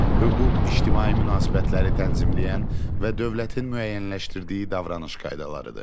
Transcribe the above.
Hüquq ictimai münasibətləri tənzimləyən və dövlətin müəyyənləşdirdiyi davranış qaydalarıdır.